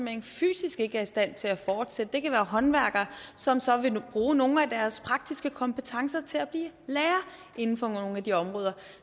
hen fysisk ikke er i stand til at fortsætte det kan være håndværkere som så vil bruge nogle af deres praktiske kompetencer til at blive lærer inden for nogle af de områder